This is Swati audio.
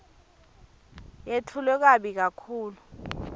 yetfulwe kabi kakhulu